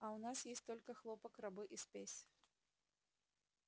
а у нас есть только хлопок рабы и спесь